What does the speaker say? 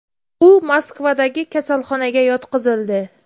U Moskvadagi kasalxonaga yotqizildi.